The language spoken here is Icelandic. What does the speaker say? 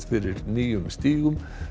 fyrir nýjum stígum